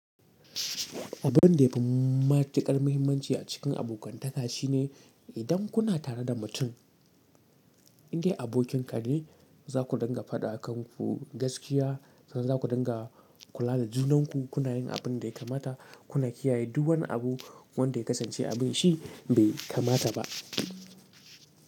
Abun da ya fi matuƙar muhimmanci a cikin abokantaka shine idan kuna tare da mutum da abokinka ne, za ku dinga faɗa a kanku gaskiya, sannan za ku dinga kula da junanku, kuna yin abin da ya kamata, kuna kiyaye duk wani abu wanda ya kasance abin shi bai kamata ba.